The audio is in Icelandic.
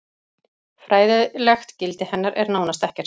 fræðilegt gildi hennar er nánast ekkert